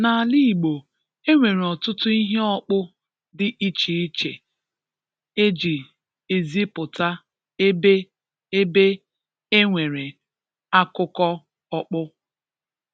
N’ala Igbo, e nwere ọtụtụ ihe ọkpụ dị iche iche e ji ezipụta ebe ebe e nwere akụkọ ọkpụ.